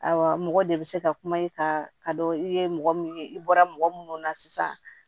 Awɔ mɔgɔ de bɛ se ka kuma i kan ka dɔ i ye mɔgɔ min ye i bɔra mɔgɔ minnu na sisan